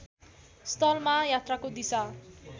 स्थलमा यात्राको दिशा